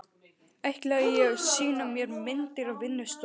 Ætlaði að sýna mér myndir á vinnustofunni.